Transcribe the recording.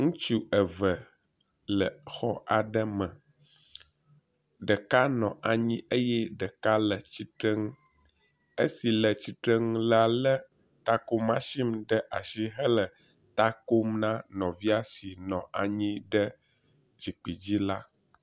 Ŋutsu eve aɖe nɔ xɔ aɖe me, ɖeka nɔ anyi eye ɖeka le tsitrenu. Esi le tsitrenu lé etako matsin ɖe asi hele ta kom na nɔvia si nɔ anyi ɖe zikpui dzi la.